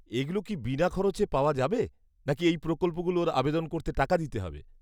-এগুলো কি বিনা খরচে পাওয়া যাবে, নাকি এই প্রকল্পগুলোর আবেদন করতে টাকা দিতে হবে?